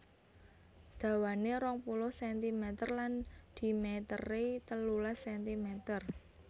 Dawanè rong puluh sentimeter lan dhimetere telulas sentimeter